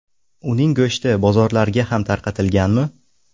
Uning go‘shti bozorlarga ham tarqatilganmi?